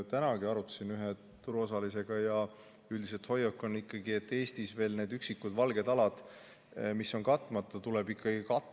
Tänagi arutasime seda ühe turuosalisega ja üldine hoiak on ikkagi selline, et need üksikud valged alad, mis on Eestis veel katmata, tuleb ikkagi katta.